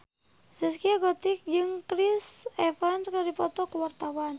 Zaskia Gotik jeung Chris Evans keur dipoto ku wartawan